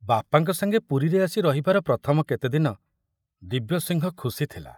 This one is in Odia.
ବାପାଙ୍କ ସାଙ୍ଗେ ପୁରୀରେ ଆସି ରହିବାର ପ୍ରଥମ କେତେଦିନ ଦିବ୍ୟସିଂହ ଖୁସି ଥିଲା।